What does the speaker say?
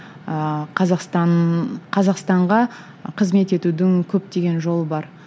ыыы қазақстан қазақстанға қызмет етудің көптеген жолы бар